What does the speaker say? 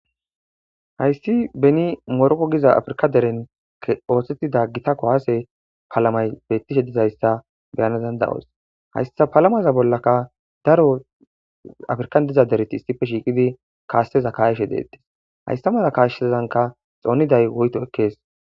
hayssi beni moroko giza afrika deren oothtettida gitakko haase palamay beettishe dizayssa beyanezanda7os hayssa palamaza bollaka daro afrikan diza dereti issipe shiiqidi kaasse za kayeshe deettis hayssa mala kaashshezanka xooniday woyto ekkees